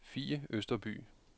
Fie Østerby